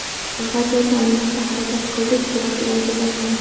Vaziyatni o‘nglashga harakat qildik, biroq iloji bo‘lmadi.